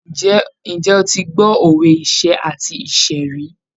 Ǹjẹ́ o ti gbọ́ òwe iṣẹ́ àti ìṣẹ́ rí?